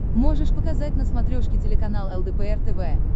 можешь показать на смотрешке телеканал лдпр тв